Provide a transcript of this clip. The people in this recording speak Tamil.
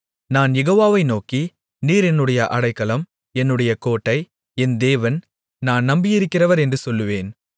நான் யெகோவாவை நோக்கி நீர் என்னுடைய அடைக்கலம் என்னுடைய கோட்டை என் தேவன் நான் நம்பியிருக்கிறவர் என்று சொல்லுவேன்